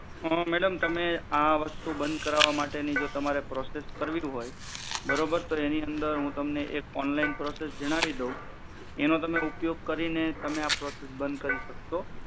madam તમે આ વસ્તુ બંધ કરવા માટે ની જો તમારે પ્રોસેસ કરવી હોય બરોબર તો એની અંદર એક ઓનલાઇન પ્રોસેસ જણાવી દઉં એનો તમે ઉપયોગ કરીને તમે આ પ્રોસેસ બંધ સક્સો